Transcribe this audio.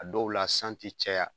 A dɔw la san ti caya.